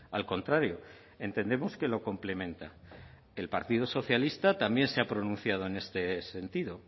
al contrario entendemos que lo complementa el partido socialista también se ha pronunciado en este sentido